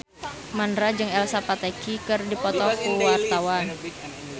Mandra jeung Elsa Pataky keur dipoto ku wartawan